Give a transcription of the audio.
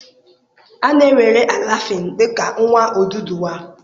A na-ewere Alafin dị ka nwa Oduduwa.